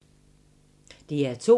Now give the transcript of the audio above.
DR2